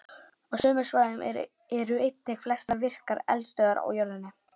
Á sömu svæðum eru einnig flestar virkar eldstöðvar á jörðinni.